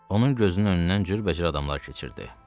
Onun gözünün önündən cürbəcür adamlar keçirdi.